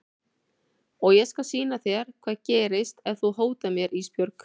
Og ég skal sýna þér hvað gerist ef þú hótar mér Ísbjörg.